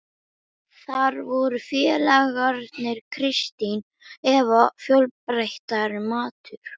Þar voru félagarnir, Kristín Eva, fjölbreyttari matur.